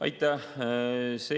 Aitäh!